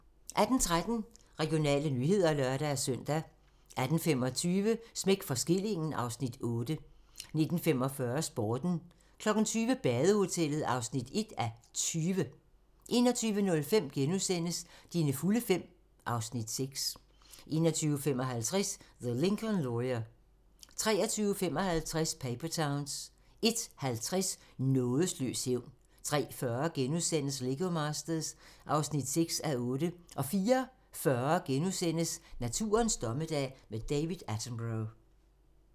18:13: Regionale nyheder (lør-søn) 18:25: Smæk for skillingen (Afs. 8) 19:45: Sporten 20:00: Badehotellet (1:20) 21:05: Dine fulde fem (Afs. 6)* 21:55: The Lincoln Lawyer 23:55: Paper Towns 01:50: Nådeløs hævn 03:40: Lego Masters (6:8)* 04:40: Naturens dommedag - med David Attenborough *